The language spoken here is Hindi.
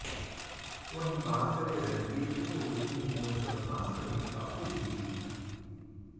वहीं बात करें रणबीर की तो वे इन दिनों ब्रह्मास्त्र में काफी बिजी हैं